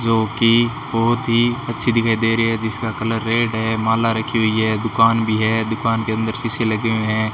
जो कि बहुत ही अच्छी दिखाई दे रही है जिसका कलर रेड है माला रखी हुई है दुकान भी है दुकान के अंदर शीशे लगे हुए हैं।